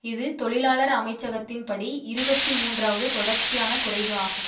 இது தொழிலாளர் அமைச்சகத்தின்படி இருபத்தி மூன்றாவது தொடர்ச்சியான குறைவு ஆகும்